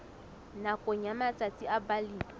nakong ya matsatsi a balemi